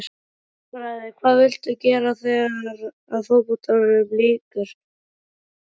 Stærðfræði Hvað viltu gera þegar að fótboltaferlinum lýkur?